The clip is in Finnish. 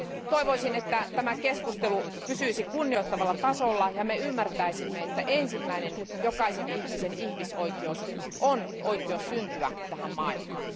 Toivoisin, että tämä keskustelu pysyisi kunnioittavalla tasolla ja me ymmärtäisimme, että ensimmäinen jokaisen ihmisen ihmisoikeus on oikeus syntyä tähän maailmaan.